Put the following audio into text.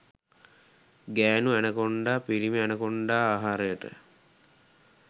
ගෑණු ඇනකොන්ඩා පිිරිමි ඇනකොන්ඩා ආහාරයට